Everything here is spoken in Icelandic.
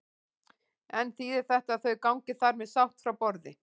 En þýðir þetta að þau gangi þar með sátt frá borði?